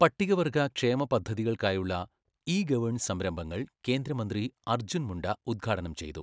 പട്ടികവർഗ ക്ഷേമ പദ്ധതികൾക്കായുള്ള ഇ ഗവേൺസ് സംരംഭങ്ങൾ കേന്ദ്ര മന്ത്രി അർജ്ജുൻ മുണ്ട ഉദ്ഘാടനം ചെയ്തു